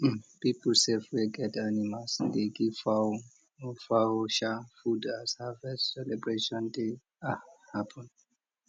people sef wey get animals dey give fowl or fowl sha food as harvest celebrations dey um happen